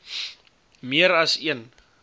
meer as een